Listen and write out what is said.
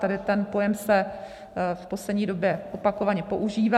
Tady ten pojem se v poslední době opakovaně používá.